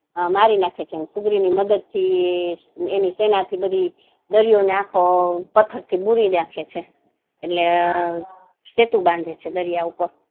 મારી નાખે છે ને સુગ્રીવ ની મદદ થી એની સેના થી બધી દરિયો ને આખ્ખો પત્થર થી પુરી નાંખે છે એટલે સેતુ બાંધે છે દરિયા ઉપર